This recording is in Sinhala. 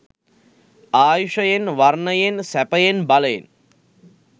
ආයුෂයෙන්, වර්ණයෙන්, සැපයෙන්, බලයෙන්